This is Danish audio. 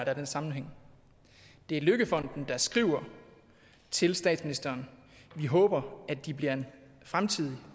er den sammenhæng det er løkkefonden der skriver til statsministeren at de håber at de bliver en fremtidig